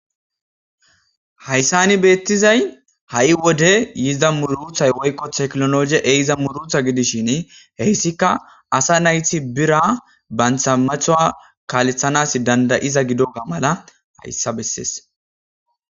Hayissan betizay ha'i wode yiza muruta woyikko technology ehiza muruta gidishin hesika asa nayt bira banta metuwa kalthanaw danda'iza gidiyoga mala hayisa besses